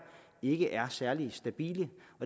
ikke er særlig stabile